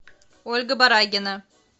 ольга барагина